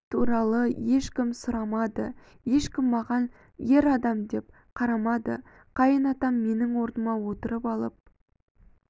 туралы ешкім сұрамады ешкім маған ер адам деп қарамады қайын атам менің орныма отырып алып